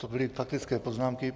To byly faktické poznámky.